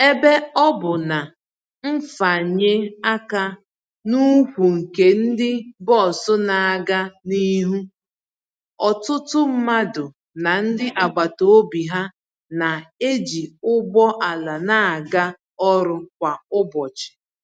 Ebe ọ bụ na mfanye aka n'ukwu nke ndi bọs na-aga n'ihu, ọtụtụ mmadụ na ndị agbata obi ha na-eji ụgbọ ala na-aga ọrụ kwa ụbọchị.